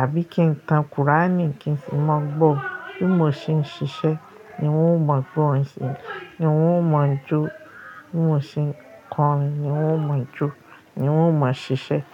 àbí kí n ka kùránì kí n sì mọ̀ gbọ́. Bí mo ṣe ń ṣiṣẹ́ ni wọ́n ó mọ̀ gbọ́ orin sí, ni wọ́n ó mọ̀ jó. Bí mo ṣe ń kọrin ni wọ́n ó mọ̀ jó, ni wọ́n ó mọ̀ ṣiṣẹ́.